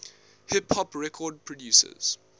hip hop record producers